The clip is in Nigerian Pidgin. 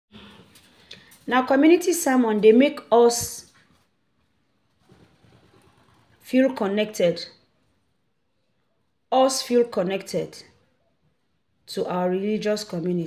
Na community sermons dey make us feel connected us feel connected to our religious community